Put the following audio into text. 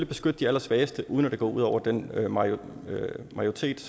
beskytte de allersvageste uden at det går ud over den majoritet